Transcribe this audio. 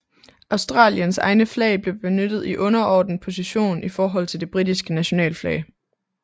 Australiens egne flag blev benyttet i underordnet position i forhold til det britiske nationalflag